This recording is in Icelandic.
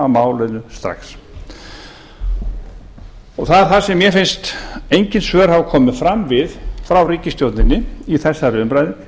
málinu strax það er það sem mér finnst engin svör hafa komið fram við hjá ríkisstjórninni í þessari umræðu